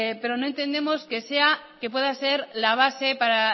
pero no entendemos que pueda ser la base para